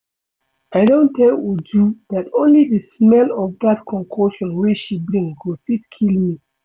I don tell Uju dat only the smell of dat concoction wey she bring go fit kill me